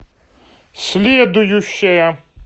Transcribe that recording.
следующая